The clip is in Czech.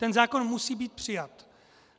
Ten zákon musí být přijat.